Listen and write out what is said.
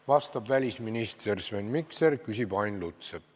Vastab välisminister Sven Mikser, küsib Ain Lutsepp.